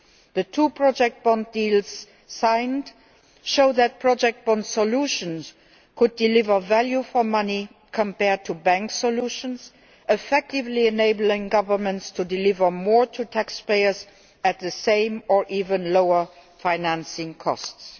The two project bond deals signed show that project bond solutions could deliver value for money compared to bank solutions, effectively enabling governments to deliver more to taxpayers at the same or even lower financing costs.